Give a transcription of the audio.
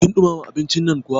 Kin ɗumama abincin nan kuwa?